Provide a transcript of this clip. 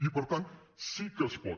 i per tant sí que es pot